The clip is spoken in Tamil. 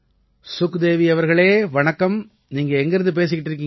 சுக்தேவி அவர்களே வணக்கம் நீங்க எங்கிருந்து பேசிட்டு இருக்கீங்க